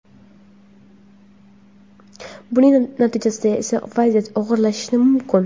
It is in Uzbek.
buning natijasida esa vaziyat og‘irlashishi mumkin.